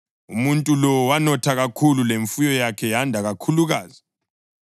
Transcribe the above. Umuntu lo wanotha kakhulu, lemfuyo yakhe yanda kakhulukazi.